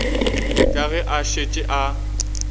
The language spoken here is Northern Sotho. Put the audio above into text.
ka ge a šetše a